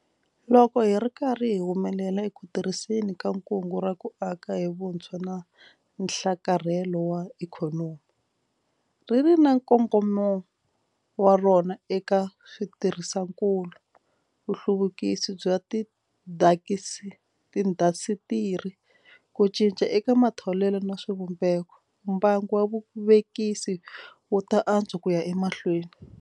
Loko hi ri karhi hi humelela eku tirhiseni ka Kungu ra ku Aka hi Vutshwa na Nhlakarhelo wa Ikhonomi - ri ri na nkongomo wa rona eka switirhisiwakulu, nhluvukiso wa tiindasitiri, ku cinca eka matholelo na swivumbeko - mbangu wa vuvekisi wu ta antswa ku ya emahlweni.